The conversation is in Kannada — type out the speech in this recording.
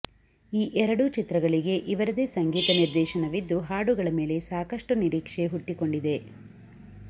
ಈ ಎರಡೂ ಚಿತ್ರಗಳಿಗೆ ಇವರದೇ ಸಂಗೀತ ನಿರ್ದೇಶನವಿದ್ದು ಹಾಡುಗಳ ಮೇಲೆ ಸಾಕಷ್ಟು ನಿರೀಕ್ಷೆ ಹುಟ್ಟಿಕೊಂಡಿದೆ